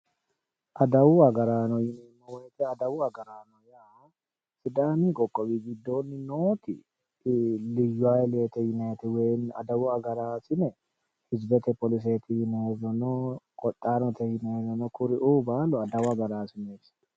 Adawu agaraano yoneemmori adawu agaraano yaa sidaamu qoqqowi giddo nooti liyyu hayiilete yinayiite adawu agaraarine hizibete agaraasineno no woyeemmi qodhaanote yinayiirino no kuriuu baalu adawu agaraasineeti